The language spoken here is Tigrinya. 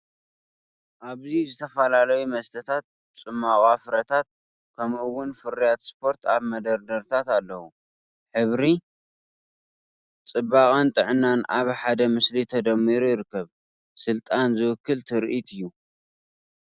ኣብዚ ዝተፈላለዩ መስተታት፡ ጽማቝ ፍረታት፡ ከምኡ’ውን ፍርያት ስፖርት ኣብ መደርደሪታት ኣለዉ፤ ሕብሪ፡ ጽባቐን ጥዕናን ኣብ ሓደ ምስሊ ተደሚሩ ይርከብ። ስልጣን ዝውክል ትርኢት እዩ።